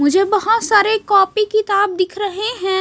मुझे बहोत सारे कॉपी किताब दिख रहे हैं।